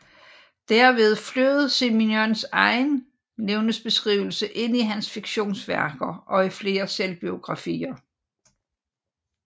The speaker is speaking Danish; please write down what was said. Derved flød Simenons egen levnedsbeskrivelse ind i hans fiktionsværker og i flere selvbiografier